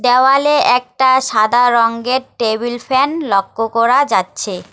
দেওয়ালে একটা সাদা রঙের টেবিল ফ্যান লক্কো করা যাচ্ছে।